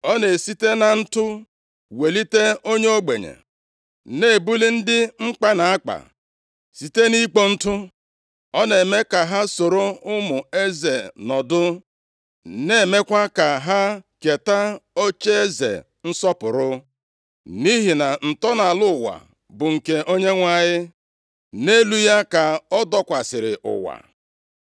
Ọ na-esite na ntụ welite onye ogbenye na-ebuli ndị mkpa na-akpa site nʼikpo ntụ. Ọ na-eme ka ha soro ụmụ eze nọdụ, na-emekwa ka ha keta ocheeze nsọpụrụ. “Nʼihi na ntọala ụwa bụ nke Onyenwe anyị nʼelu ya ka ọ dọkwasịrị ụwa.